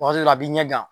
Waati dɔ la a b'i ɲɛ gan